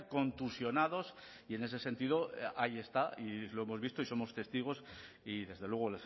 contusionados y en ese sentido ahí está y lo hemos visto y somos testigos y desde luego